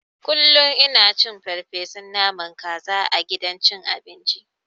Kullun ina cin farfeson naman kaza a gidan cin abinci.